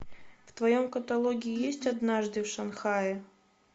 в твоем каталоге есть однажды в шанхае